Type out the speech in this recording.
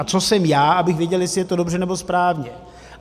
A co jsem já, abych věděl, jestli je to dobře nebo správně?